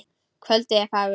Kvöldið er fagurt.